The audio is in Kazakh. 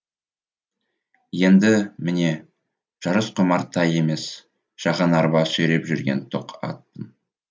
енді міне жарысқұмар тай емес шағын арба сүйреп жүрген тоқ атпын